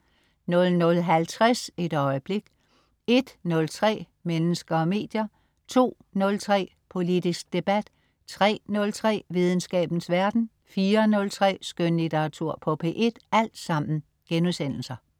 00.50 Et øjeblik* 01.03 Mennesker og medier* 02.03 Politisk debat* 03.03 Videnskabens verden* 04.03 Skønlitteratur på P1*